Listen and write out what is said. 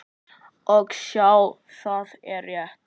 Og sjá, það er rétt.